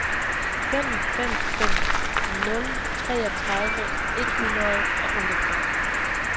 fem fem fem nul treogtredive et hundrede og otteogfyrre